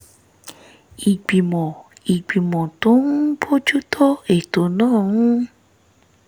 ìgbìmọ̀ ìgbìmọ̀ tó ń bójú tó ètò náà ń